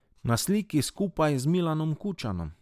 Na sliki skupaj z Milanom Kučanom.